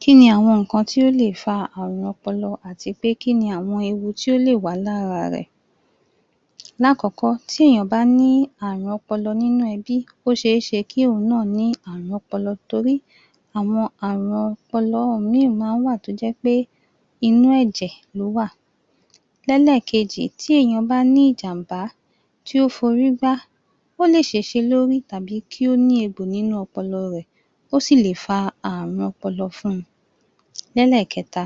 Kí ni àwọn nǹkan tí ó lè fa àrùn ọpọlọ àti pé kí ni àwọn ewu tí ò lè wà lára rẹ̀? Láàkọ́kọ́, tí èèyàn bá ní àrùn ọpọlọ nínú ẹbí, ó ṣeé ṣe kí òun náà ní àrùn ọpọlọ torí àwọn àrùn ọpọlọ mí máa wà tí ó jẹ́ pé inú ẹ̀jẹ̀ ló wà Lẹ́lẹ̀kejì tí èèyàn bá ní ìjàm̀bá tí o forí gbá ó lè ṣèṣe lórí tàbí kí ó ní egbò nínú ọpọlọ rẹ̀. Ó sì lè fa àrùn ọpọlọ fún un. Lẹ́lẹ̀kẹta.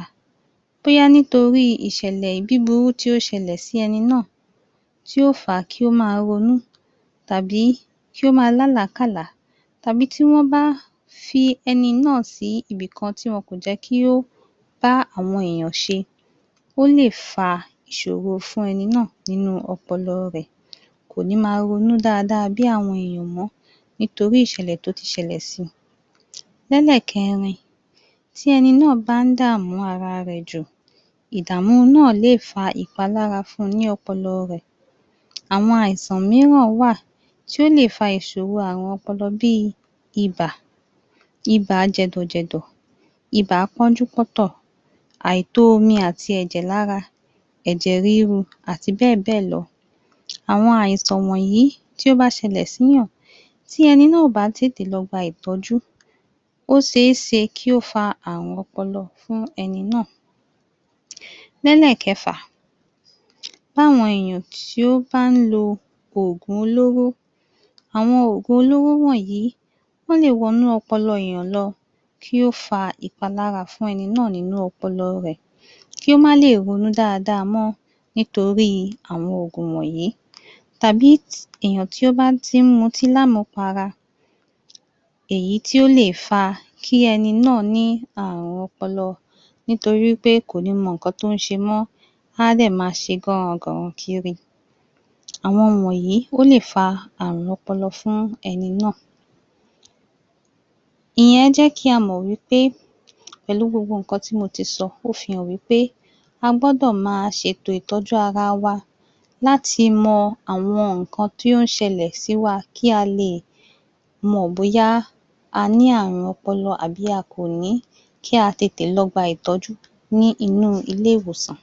Bóyá nítorí ìṣẹ̀lẹ̀ búburú tí o ṣẹlẹ̀ sí ẹni náà tí o fa kí ó máa ronú tàbí kí ó máa lá àlákàlá tàbí tí wọn bá fi ẹni náà sí ibikan tí wọn kò jẹ́ kí ó bá àwọn èèyàn ṣe. Ó lè fa ìṣòro fún ẹni náà nínú ọpọlọ rẹ̀, kò ní máa ronú dáadáa bí àwọn èèyàn mó nítorí ìṣẹ̀lẹ̀ tí o tí ṣẹlẹ̀ si. Lẹ́lẹ̀kẹrin. Tí ẹni náà bá dànú ara rẹ̀ jù ìdàmú náà lè fa ìpalára fún un ní ọpọlọ rẹ̀. Àwọn àìsàn mìíràn wà tí o lè fa ìṣòro àrùn ọpọlọ bí ìbà, ìbà jẹ̀dọ̀ jẹ̀dọ̀, ìbà pọ́njú pọ́ntò àìtó omi àti ẹ̀jẹ̀ lára, ẹ̀jẹ̀ ríru àti bẹ́ẹ̀ bẹ́ẹ̀ lọ. Àwọn àìsàn wọ̀nyí tí ó bá ṣẹlẹ̀ sí èèyàn tí ẹni náà ò bá tètè lọ gba ìtọ́jú ó ṣeé ṣe kí ó fa àrùn ọpọlọ fún ẹni náà. Lẹ́lẹ̀kẹfà. Bí àwọn èèyàn tí ó bá lo oògùn olóró. Àwọn oògùn olóró wọ̀nyí wọ́n lè wọnú ọpọlọ èèyàn lọ kí ó fa ìpalára fún ẹni náà nínú ọpọlọ rẹ̀. Kí ó má lè ronú dáadáa mọ́ nítorí àwọn oògùn wọ̀nyí tàbí èèyàn tí ó bá tí mu ọtí ní àmú para. Èyí tí ó lè fa kí ẹni náà ní àrùn ọpọlọ nítorí pé kò ní mọ nǹkan tí ó ṣe mó. A dẹ̀ máa ṣe gán-ran gàn-ran kiri Àwọn wọ̀nyí ó lè fa àrùn ọpọlọ fún ẹni náà. Ìyẹn jẹ́ kí a mọ̀ wí pé pẹ̀lu gbogbo nǹkan tí mo tí sọ, ó fihàn wí pé a gbọ́dọ̀ máa ṣe ètò ìtọ́jú ara wa láti mọ àwọn nǹkan tí o ṣẹlẹ̀ sí wa kí a lè mọ̀ bóyá a ní àrùn ọpọlọ àbí a kò ní kí a tètè lọ gbà ìtọ́jú ní inú ilé-ìwòsàn.